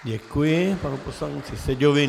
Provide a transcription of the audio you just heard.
Děkuji panu poslanci Seďovi.